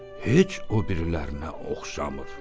Heç o birilərinə oxşamır.